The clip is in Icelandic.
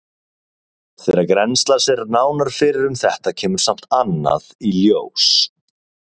Þegar grennslast er nánar fyrir um þetta kemur samt annað í ljós.